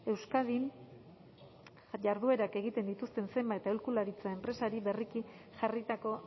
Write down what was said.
euskadin jarduerak egiten dituzten zenbait aholkularitza enpresari berriki jarritako